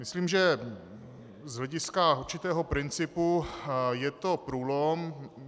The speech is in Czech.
Myslím, že z hlediska určitého principu je to průlom.